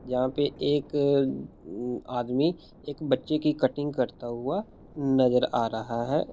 यहाँ पे एक आदमी एक बच्चे की कटिंग करता हुआ नज़र आ रहा है।